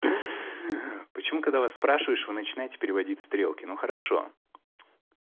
почему когда вас спрашиваешь вы начинаете переводить стрелки ну хорошо